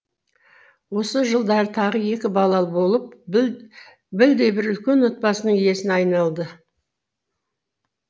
осы жылдары тағы екі балалы болып білдей бір үлкен отбасының иесіне айналды